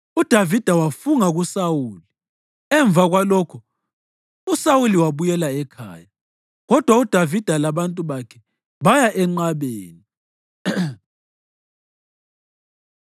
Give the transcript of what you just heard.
UDavida wafunga kuSawuli. Emva kwalokho uSawuli wabuyela ekhaya, kodwa uDavida labantu bakhe baya enqabeni.